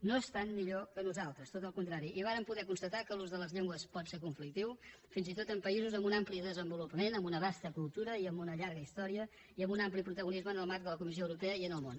no estan millor que nosaltres tot al contrari i vàrem poder constatar que l’ús de les llengües pot ser conflictiu fins i tot en països amb un ampli desenvolupament amb una vasta cultura i amb una llarga història i amb un ampli protagonisme en el marc de la comissió europea i en el món